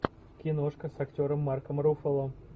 киношка с актером марком руффало